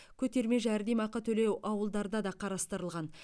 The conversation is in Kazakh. көтерме жәрдемақы төлеу ауылдарда да қарастырылған